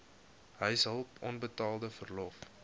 huishulp onbetaalde verlof